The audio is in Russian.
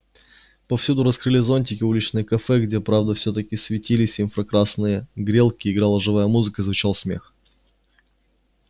повсюду раскрыли зонтики уличные кафе где правда всё-таки светились инфракрасные грелки играла живая музыка звучал смех